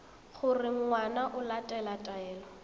gore ngwana o latela taelo